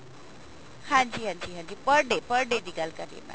ਹਾਂਜੀ ਹਾਂਜੀ ਹਾਂਜੀ per day per day ਦੀ ਗੱਲ ਕਰ ਰਹੀ ਹਾਂ mam